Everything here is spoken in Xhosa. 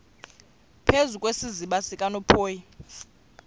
phezu kwesiziba sikanophoyi